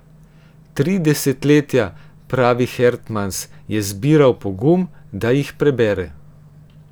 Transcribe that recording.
Tri desetletja, pravi Hertmans, je zbiral pogum, da jih prebere.